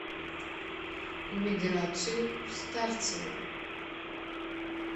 миграцию старцеву